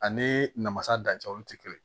Ani namasa dancɛ olu tɛ kelen ye